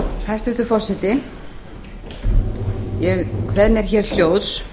hæstvirtur forseti ég kveð mér hér hljóðs